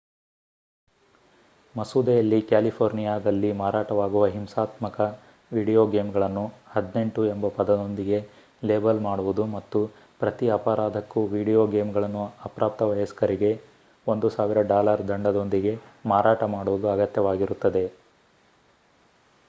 ಮಸೂದೆಯಲ್ಲಿ ಕ್ಯಾಲಿಫೋರ್ನಿಯಾದಲ್ಲಿ ಮಾರಾಟವಾಗುವ ಹಿಂಸಾತ್ಮಕ ವಿಡಿಯೋ ಗೇಮ್‌ಗಳನ್ನು 18 ಎಂಬ ಪದದೊಂದಿಗೆ ಲೇಬಲ್ ಮಾಡುವುದು ಮತ್ತು ಪ್ರತಿ ಅಪರಾಧಕ್ಕೂ ವೀಡಿಯೊ ಗೇಮ್‌ಗಳನ್ನು ಅಪ್ರಾಪ್ತ ವಯಸ್ಕರಿಗೆ $ 1,000 ದಂಡದೊಂದಿಗೆ ಮಾರಾಟ ಮಾಡುವುದು ಅಗತ್ಯವಾಗಿರುತ್ತದೆ